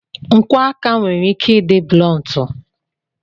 Nkwọ aka nwere ike ịdị blọntu.